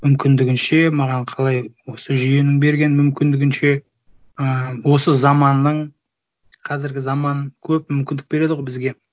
мүмкіндігінше маған қалай осы жүйенің берген мүмкіндігінше ы осы заманның қазіргі заман көп мүмкіндік береді ғой бізге